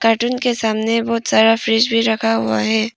Cartoon के सामने बहुत सारा फ्रिज भी रखा हुआ है।